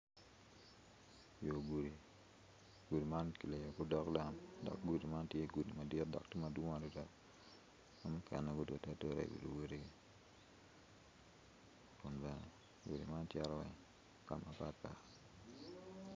Yogudi yo gudi man kiliyo ki odok lam dok gudi man tye ,adit dok madwong adada ki mukene gudodeadoda i wi luwedigigi gudi man cito kama patpat.